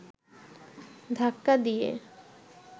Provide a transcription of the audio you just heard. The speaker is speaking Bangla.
ধাক্কা দিয়ে